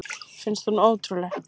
Finnst hún ótrúleg.